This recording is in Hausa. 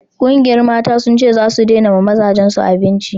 ƙungiyar Mata sun ce zasu dena ma mazajen su abinci